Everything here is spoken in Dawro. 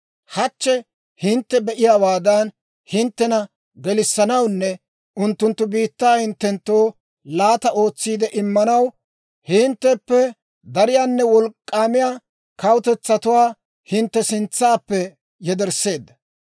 Hachche hintte be"iyaawaadan, hinttena gelissanawunne unttunttu biittaa hinttenttoo laata ootsiide immanaw, hintteppe dariyaanne wolk'k'aamiyaa kawutetsatuwaa hintte sintsaappe yedersseedda.